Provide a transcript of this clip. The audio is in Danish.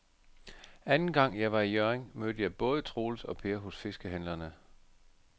Anden gang jeg var i Hjørring, mødte jeg både Troels og Per hos fiskehandlerne.